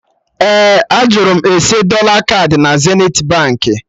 Ee, a jụrụ m ese dọla kaadị na Zenithi Baankị